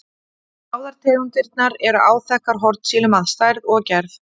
Báðar tegundirnar eru áþekkar hornsílum að stærð og gerð.